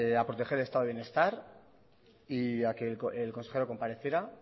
a proteger el estado de bienestar y a que el consejero compareciera